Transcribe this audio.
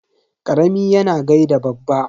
Karami yana gaida babba.